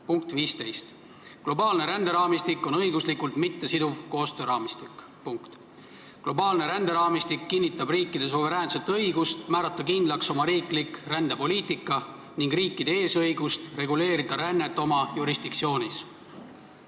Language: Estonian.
Punkt 15: "Globaalne ränderaamistik on õiguslikult mittesiduv koostööraamistik ... Globaalne ränderaamistik kinnitab riikide suveräänset õigust määrata kindlaks oma riiklik rändepoliitika ning riikide eesõigust reguleerida rännet oma jurisdiktsioonis ...